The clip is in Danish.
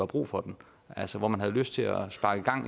brug for den altså hvor man har lyst til at sparke